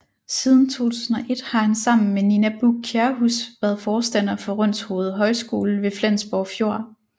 Siden 2001 har han sammen med Nina Buch Kjærhus været forstander for Rønshoved Højskole ved Flensborg Fjord